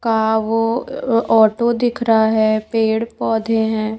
का वो ऑटो दिख रहा है पेड़ पौधे है।